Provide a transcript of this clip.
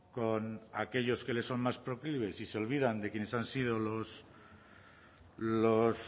con aquellos que les son más proclives y se olvidan de quienes han sido los